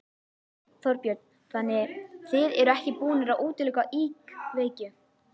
Þorbjörn: Þannig þið eruð ekki búnir að útiloka íkveikju?